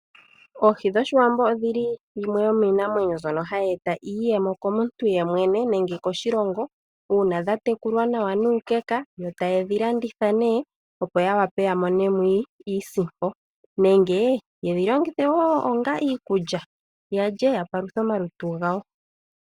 Oohi dhoshiwambo odhili dhimwe dhomiinamwenyo mbyoka hayi e ta iiyemo komuntu yemwene nenge koshilongo uuna dhatetulwa nawa nuukeka, yo taye dhi landitha nee, opo ya wape yamone mo iisimpo nenge yedhilongithe woo onga iikulya yalye yapaluthe omalutu gawo.